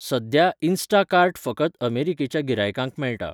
सध्या, इन्स्टाकार्ट फकत अमेरिकेच्या गिरायकांक मेळटा.